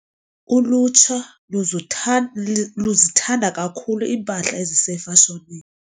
Ulutsha luzutha luzithanda kakhulu iimpahla ezisefashonini.